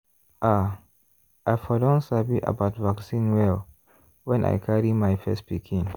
ah! i for don sabi about vaccine well when i carry my first pikin.